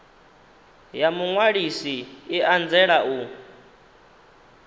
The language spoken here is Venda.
ya muṅwalisi i anzela u